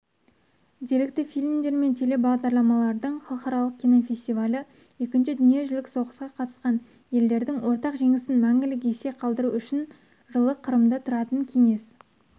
деректі фильмдер мен телебағдарламалардың халықаралық кинофестивалі екінші дүниежүзілік соғысқа қатысқан елдердің ортақ жеңісін мәңгілік есте қалдыру үшін жылы қырымда тұратын кеңес